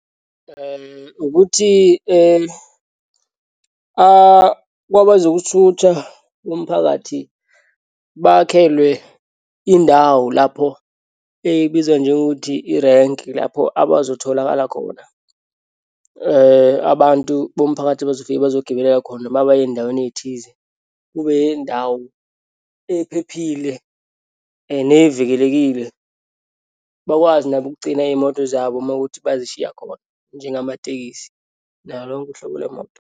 Ukuthi kwabazokuthutha bomphakathi bakhelwe indawo lapho ebizwa njengokuthi irenki, lapho abazotholakala khona. Abantu bomphakathi bazofika bezogibelela khona uma baya eyindaweni eyithize. Kube yindawo ephephile nevikelekile. Bakwazi nabo ukugcina iyimoto zabo uma wukuthi bayishiya khona njengamatekisi nalo lonke uhlobo lwemoto.